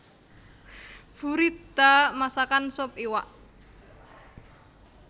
Buridda masakan sup iwak